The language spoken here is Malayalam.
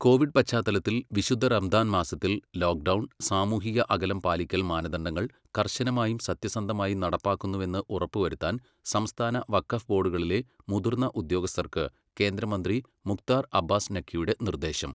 കോവിഡ് പശ്ചാത്തലത്തിൽ വിശുദ്ധ റമ്ദാൻ മാസത്തിൽ ലോക്ഡൗൺ, സാമൂഹിക അകലം പാലിക്കൽ മാനദണ്ഡങ്ങൾ കർശനമായും സത്യസന്ധമായും നടപ്പാക്കുന്നുവെന്ന് ഉറപ്പുവരുത്താൻ സംസ്ഥാന വഖഫ് ബോഡുകളിലെ മുതിർന്ന ഉദ്യോഗസ്ഥർക്ക് കേന്ദ്രമന്ത്രി മുഖ്താർ അബ്ബാസ് നഖ്വിയുടെ നിർദ്ദേശം.